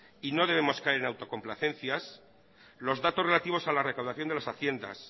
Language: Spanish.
y no debemos caer en autocomplacencias los datos relativos a la recaudación de las haciendas